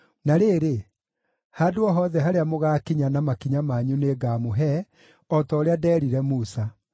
Na rĩrĩ, handũ o hothe harĩa mũgaakinya na makinya manyu nĩngamũhe, o ta ũrĩa ndeerire Musa.